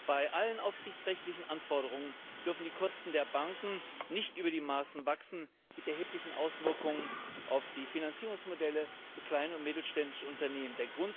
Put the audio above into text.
Bei allen aufsichtsrechtlichen Anforderungen dürfen die Kosten der Banken nicht über die Maßen wachsen, mit erheblichen Auswirkungen auf die Finanzierungsmodelle für kleine und mittelständische Unternehmen.